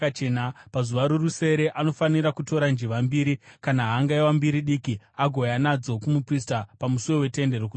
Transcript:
Pazuva rorusere anofanira kutora njiva mbiri kana hangaiwa mbiri diki agouya nadzo kumuprista pamusuo weTende Rokusangana.